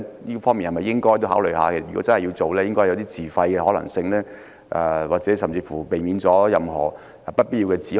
如果真的要推行，便應該考慮自費的可行性，甚至可避免任何不必要的指控。